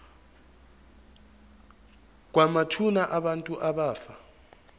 kwamathuna abantu abafa